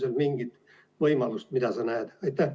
On seal mingit võimalust, mida sa näed?